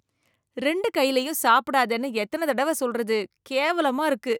ரெண்டு கையிலயும் சாப்பிடாதேன்னு எத்தனை தடவை சொல்றது, கேவலமா இருக்கு.